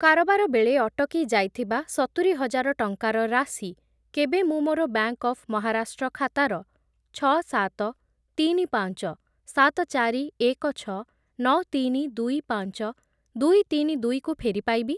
କାରବାର ବେଳେ ଅଟକି ଯାଇଥିବା ସତୁରିହଜାର ଟଙ୍କାର ରାଶି କେବେ ମୁଁ ମୋର ବ୍ୟାଙ୍କ୍‌ ଅଫ୍ ମହାରାଷ୍ଟ୍ର ଖାତାର ଛଅ, ସାତ, ତିନି, ପାଞ୍ଚ, ସାତ, ଚାରି, ଏକ, ଛଅ, ନଅ, ତିନି, ଦୁଇ, ପାଞ୍ଚ, ଦୁଇ, ତିନି, ଦୁଇ କୁ ଫେରି ପାଇବି?